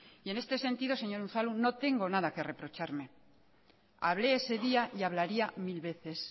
y en este sentido señor unzalu no tengo nada que reprocharme hablé ese día y hablaría mil veces